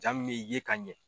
Jaa mun bɛ ye ka ɲɛ.